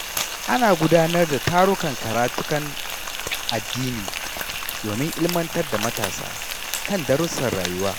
Ana gudanar da tarukan karatukan addini domin ilmantar da matasa kan darussan rayuwa.